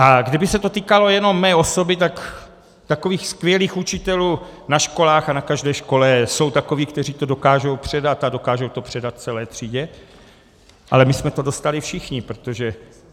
A kdyby se to týkalo jenom mé osoby, tak takových skvělých učitelů na školách a na každé škole jsou takoví, kteří to dokážou předat, a dokážou to předat celé třídě, ale my jsme to dostali všichni, protože...